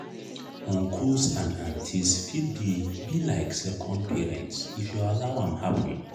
uncles and aunties fit be be like second parents if you allow am happen.